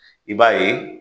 I b'a ye